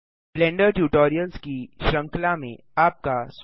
blender tutorials की श्रृंखला में आपका स्वागत है